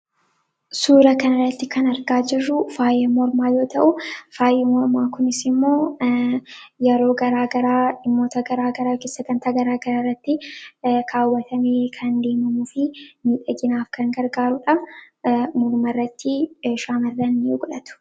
suura kanaratti kan argaa jaruu faayaa moormaa yoo ta'uu faayaa moormaa kunis immoo yeroo garaa garaa dhimmoota garaa garaa yookii bakka garaa garaarratti kaawwatamii kan deemamuu fi miidhaginaaf kan gargaaruudha morma irratti ni godhatama.